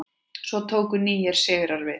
Svo tóku nýir sigrar við.